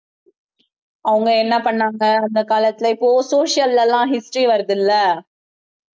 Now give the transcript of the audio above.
அவங்க என்ன பண்ணாங்க அந்த காலத்துல இப்போ social எல்லாம் history வருது இல்ல